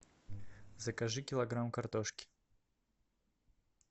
закажи килограмм картошки